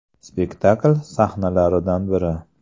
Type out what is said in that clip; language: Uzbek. Spektakl sahnalaridan biri.